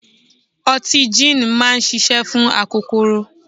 Ọtí jííni máa ń ṣiṣẹ́ fún akokoro.